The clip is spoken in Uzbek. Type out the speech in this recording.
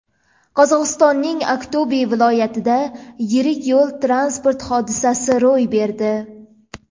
Qozog‘istonning Aqto‘be viloyatida yirik yo‘l-transport hodisasi ro‘y berdi.